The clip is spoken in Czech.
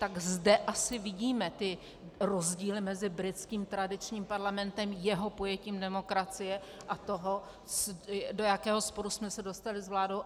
Tak zde asi vidíme ty rozdíly mezi britským tradičním parlamentem, jeho pojetím demokracie, a toho, do jakého sporu jsme se dostali s vládou.